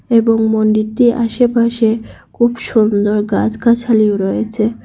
এবং মন্দিরটির আশেপাশে খুব সুন্দর গাছগাছালিও রয়েছে।